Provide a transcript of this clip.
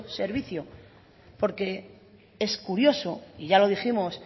servicio porque es curioso y ya lo dijimos